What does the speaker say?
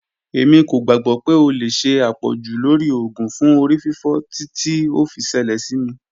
Emi ko gbagbọ pe o le ṣe apọju lori oògùn fun orififo titi o fi ṣẹlẹ si mi.